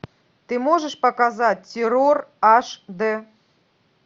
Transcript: ты можешь показать террор аш дэ